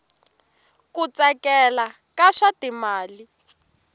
ku tsakela ka swa timali